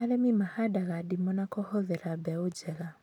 Arĩmi mahandaga ndimũ na kũhũthĩra mbegũ njega